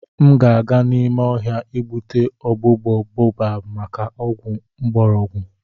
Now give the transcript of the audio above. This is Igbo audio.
M ga-aga n'ime ohia igbutu ogbugbo baobab maka ogwu ngborogu.